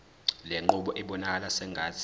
lenqubo ibonakala sengathi